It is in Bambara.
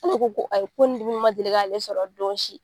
K'ale ko ayi ko ni dimi ma deli k'ale sɔrɔ don si.